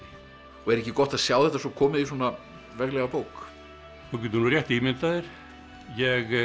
og er ekki gott að sjá þetta svo komið í svona veglega bók þú getur nú rétt ímyndað þér ég